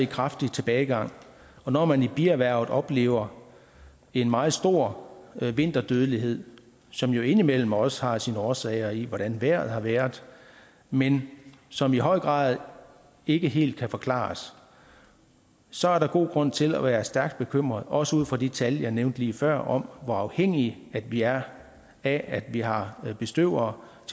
kraftig tilbagegang og når man i bierhvervet oplever en meget stor vinterdødelighed som jo indimellem også har sine årsager i hvordan vejret har været men som i høj grad ikke helt kan forklares så er der god grund til at være stærkt bekymret også ud fra de tal jeg nævnte lige før om hvor afhængige vi er af at vi har bestøvere